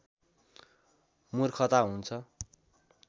मूर्खता हुन्छ